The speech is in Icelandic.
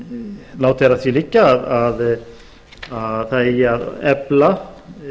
látið er að því liggja að það eigi að efla